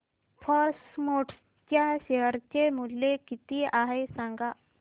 force Motors च्या share चे मूल्य किती आहे सांगा